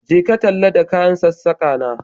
Je ka talla ta kayan sassaka na